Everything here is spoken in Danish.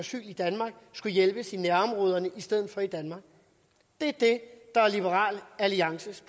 asyl i danmark skal hjælpes i nærområderne i stedet for i danmark det er det der er liberal alliances